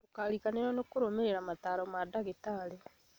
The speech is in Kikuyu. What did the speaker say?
Ndũkariganĩrwo nĩ kũrũmĩrĩra mataro ma ndagĩtarĩ